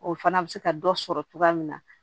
O fana bɛ se ka dɔ sɔrɔ cogoya min na